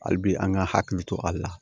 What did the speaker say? Hali bi an ka hakili to a la